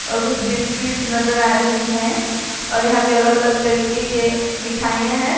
और कुछ बिस्किट्स नजर आ रही है और यहां पे अलग अलग तरीके के मिठाइयां है जो--